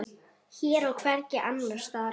Hér og hvergi annars staðar.